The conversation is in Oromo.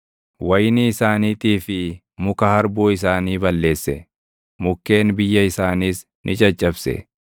wayinii isaaniitii fi muka harbuu isaanii balleesse; mukkeen biyya isaaniis ni caccabse.